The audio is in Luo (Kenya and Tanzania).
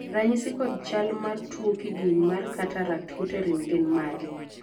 ranyisi kod chal mar tuo kidieny mar Cataract Hutterite gin mage?